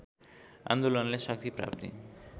आन्दोलनले शक्ति प्राप्ति